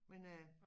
Men øh